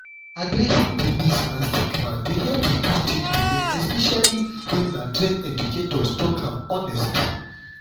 addressing di myths and stigma dey help reduce teen belle especially when na trained educators talk am honest.